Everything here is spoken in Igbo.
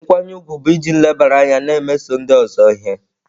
Nkwanye ùgwù bụ iji nlebara anya na-emeso ndị ọzọ ihe.